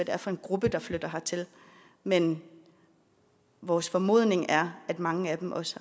er for en gruppe der flytter hertil men vores formodning er at mange af dem også